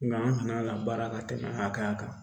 Nga an kana ka baara ka tɛmɛ hakɛya kan